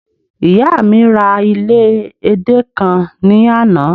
ìyá mi ra ile ede kan ni Ana